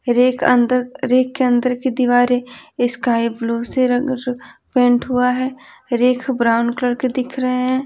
Rake अंदर rack के अंदर की दीवारें स्काई ब्लू से रंगर पेंट हुआ है रेक ब्राउन कलर के दिख रहे हैं।